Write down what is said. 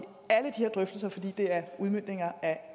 drøftelser fordi det er udmøntninger af